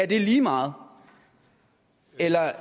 det lige meget eller